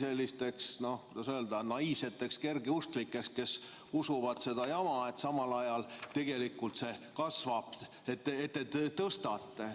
sellisteks, no kuidas öelda, naiivseteks kergeusklikeks, kes usuvad seda jama, et see summa tegelikult kasvab ja te seda tõstate.